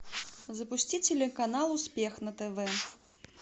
запусти телеканал успех на тв